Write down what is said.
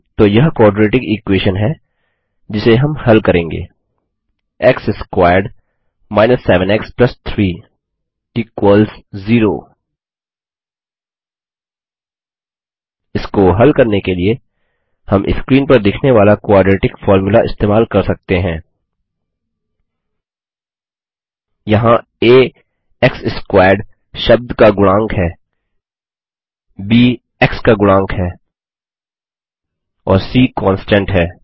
तो यह quadratic equation है जिसे हम हल करेंगे एक्स स्क्वेयर्ड 7 एक्स 3 0 इसको हल करने के लिए हम स्क्रीन पर दिखने वाला क्वाड्रेटिक फ़ॉर्मूला इस्तेमाल कर सकते हैं यहाँ आ एक्स स्क्वेयर्ड शब्द का गुणांक है ब एक्स का गुणांक है और सी कांस्टेंट है